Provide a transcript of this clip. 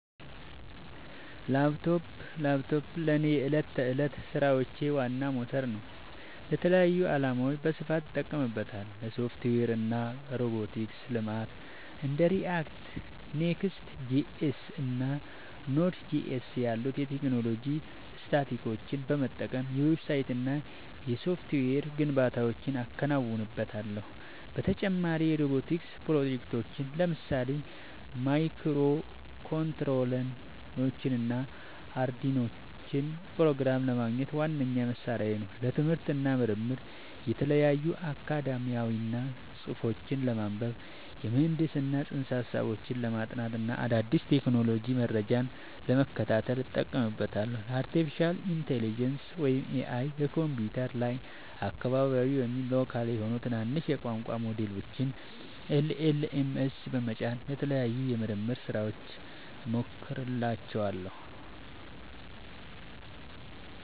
ላፕቶፕ ላፕቶፔ ለእኔ የዕለት ተዕለት ሥራዎቼ ዋና ሞተር ነው። ለተለያዩ ዓላማዎች በስፋት እጠቀምበታለሁ - ለሶፍትዌር እና ሮቦቲክስ ልማት እንደ React፣ Next.js እና Node.js ያሉ የቴክኖሎጂ ስታኮችን በመጠቀም የዌብሳይትና የሶፍትዌር ግንባታዎችን አከናውንበታለሁ። በተጨማሪም የሮቦቲክስ ፕሮጀክቶችን (ለምሳሌ ማይክሮኮንትሮለሮችንና አርዱኢኖን) ፕሮግራም ለማድረግ ዋነኛ መሣሪያዬ ነው። ለትምህርት እና ምርምር የተለያዩ አካዳሚያዊ ጽሑፎችን ለማንበብ፣ የምህንድስና ፅንሰ-ሀሳቦችን ለማጥናት እና አዳዲስ የቴክኖሎጂ መረጃዎችን ለመከታተል እጠቀምበታለሁ። ለአርቲፊሻል ኢንተለጀንስ (AI) በኮምፒውተሬ ላይ አካባቢያዊ (local) የሆኑ ትናንሽ የቋንቋ ሞዴሎችን (LLMs) በመጫን ለተለያዩ የምርምር ሥራዎች እሞክራቸዋለሁ።